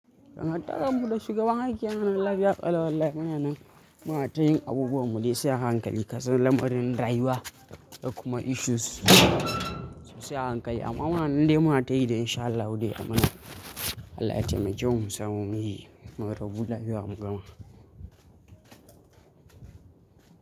Don haka taron mu da shugaban aiki a ranar lahadi aka lalla mu yanan mu na ta yin abubuwan mu dai sai a hankali. Kasan lamarin rayuwa da kuma issues su sai a hankali. Amma muna nan dai mu na tayi da in sha Allah dai ayi mana. Allah ya taimake mu samu muyi mu rabu lahia mu gama.